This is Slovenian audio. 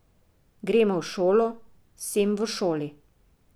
Gremo v šolo, sem v šoli.